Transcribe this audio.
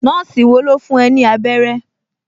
Nọ́ọ̀sì wo ló fún ẹ ní abẹ́rẹ́?